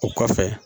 O kɔfɛ